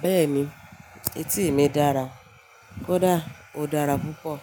Béèni etí mi dára kódà ó dára púpọ̀